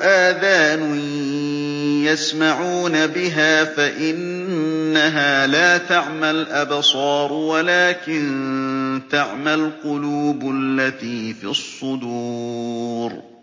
آذَانٌ يَسْمَعُونَ بِهَا ۖ فَإِنَّهَا لَا تَعْمَى الْأَبْصَارُ وَلَٰكِن تَعْمَى الْقُلُوبُ الَّتِي فِي الصُّدُورِ